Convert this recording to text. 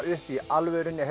upp í alvörunni